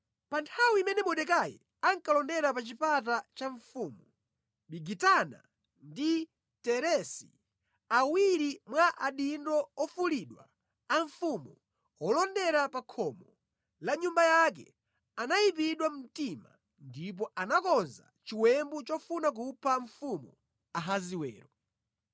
Pa nthawi imene Mordekai ankalondera pa chipata cha mfumu, Bigitana ndi Teresi, awiri mwa adindo ofulidwa amfumu, olondera pa khomo la nyumba yake, anayipidwa mtima ndipo anakonza chiwembu chofuna kupha mfumu Ahasiwero.